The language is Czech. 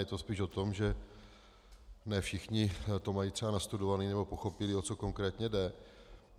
Je to spíš o tom, že ne všichni to mají třeba nastudované nebo pochopili, o co konkrétně jde.